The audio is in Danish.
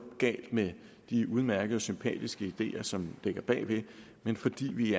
galt med de udmærkede og sympatiske ideer som ligger bagved men fordi vi